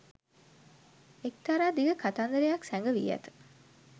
එක්තරා දිග කතන්දරයක් සැඟවී ඇත.